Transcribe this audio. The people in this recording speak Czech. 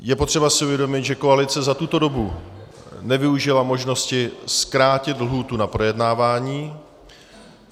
Je potřeba si uvědomit, že koalice za tuto dobu nevyužila možnosti zkrátit lhůtu na projednávání.